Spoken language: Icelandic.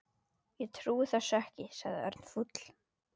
Ég trúi þessu ekki sagði Örn fúll.